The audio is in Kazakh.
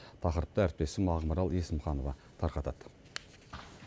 тақырыпты әріптесім ақмарал есімханова тарқатады